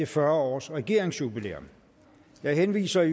fyrre års regeringsjubilæet jeg henviser